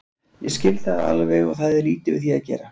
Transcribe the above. Ég skil það alveg og það er lítið við því að gera.